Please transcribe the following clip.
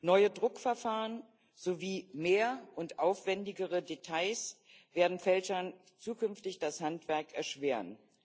Neue Druckverfahren sowie mehr und aufwendigere Details werden Fälschern zukünftig das Handwerk erschweren.